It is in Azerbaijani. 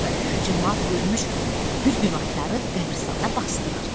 Camaat ölmüş bir günahkarı qəbiristanda basdırır.